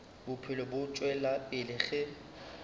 bophelo bo tšwela pele ge